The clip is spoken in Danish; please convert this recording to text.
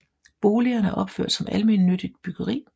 Boligerne er opført som almennyttigt byggeri